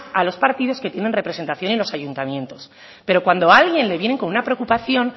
a los partidos que tienen representación en los ayuntamientos pero cuando a alguien le vienen con una preocupación